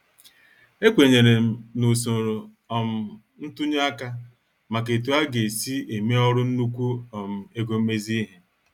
Ekwenyerem na usoro um ntunye aka maka etu aga- esi eme ọrụ nnukwu um ego mmezi ihe.